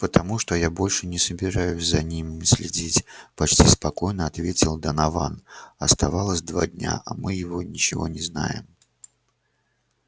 потому что я больше не собираюсь за ними следить почти спокойно ответил донован оставалось два дня а мы его ничего не знаем